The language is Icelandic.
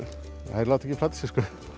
þær láta ekki plata sig